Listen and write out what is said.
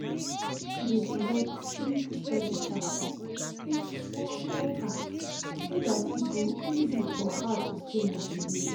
she dey divide big study task into small small task so day e go easy for her to stay motivated.